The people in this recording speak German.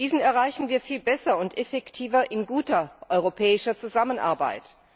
Diesen erreichen wir viel besser und effektiver in guter europäischer Zusammenarbeit.